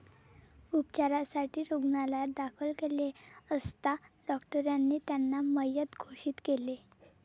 उपचारासाठी रुग्णालयात दाखल केले असता डॉक्टरांनी त्यांना मयत घोषित केले.